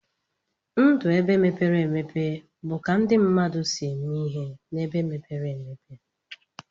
Ndụ ebe mepere emepe bu ka ndi mmadụ si eme ihe na ebe mepere emepe.